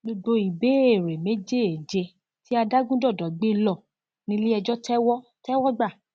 gbogbo ìbéèrè méjèèje tí adágúndọdọ gbé ló nílẹẹjọ tẹwọ tẹwọ gbà